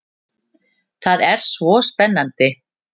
Það var svo spennandi.